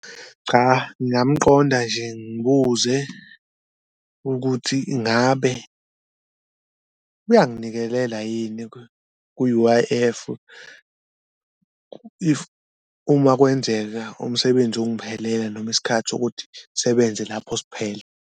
Cha, ngingamqonda nje ngibuze ukuthi ingabe uyanginikelela yini ku-U_I_F if uma kwenzeka umsebenzi ungiphelela noma isikhathi sokuthi ngisebenze lapho siphele.